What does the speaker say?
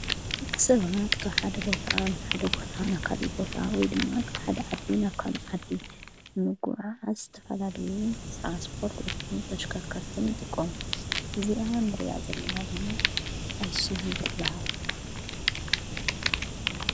በቂ ሰባት ካብ ሓደ ቦታ ናብ ሓደ ቦት ናብ ካልእ ቦታ ወይ ድማ ካብ ሓድ ዓዲ ናብ ካል ዓዲ ምጕዓ ኣስተፈላልየ ትራንስፖርትን ተሽከርከርትን ይጥቀም፣ እዚኣ ንርያ ዘለና ድማ ኣይሱዙ ትበሃለ።